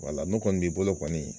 Wala n'o kɔni b'i bolo kɔni